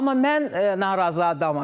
Amma mən narazı adamam.